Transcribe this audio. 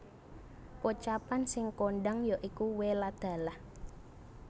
Pocapan sing kondang ya iku Wé lah dalah